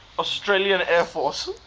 australian air force